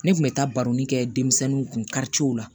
Ne kun bɛ taa baroi kɛ denmisɛnninw kun karicew la